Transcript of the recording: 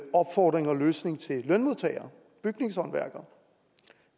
opfordring og løsning til lønmodtagere bygningshåndværkere